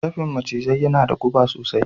Dafin macizai yana da guba sosai.